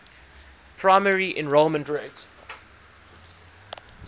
primary enrollment rate